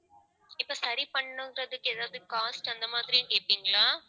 இப்ப சரி பண்ணணுங்கிறதுக்கு ஏதாவது cost அந்த மாதிரின்னு கேட்பீங்களா